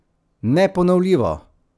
Neponovljivo?